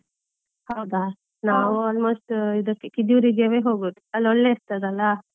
ಹೌದಾ? ನಾವು almost ಹೀಗೆ Kediyoor ಗೆ ಹೋಗೋದು, ಅಲ್ಲಿ ಒಳ್ಳೆ ಇರ್ತದಲ್ಲ.